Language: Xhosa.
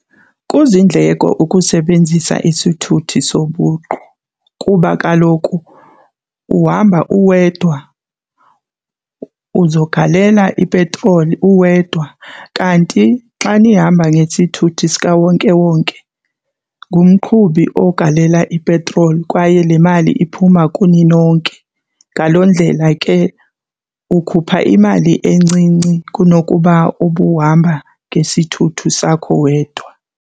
Kuzindleko ukusebenzisa isithuthi sobuqu kuba kaloku uhamba uwedwa, uzogalela ipetroli uwedwa. Kanti xa ndihamba ngesithuthi sikawonkewonke ngumqhubi ogalela ipetroli kwaye le mali iphuma kuni nonke. Ngaloo ndlela ke ukhupha imali encinci kunokuba ubuhamba ngesithuthi sakho wedwa.